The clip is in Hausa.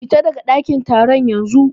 Fita daga ɗakin taron yanzu.